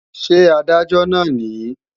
Ṣé Adájọ́ náà nìí?